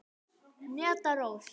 Hneta Rós.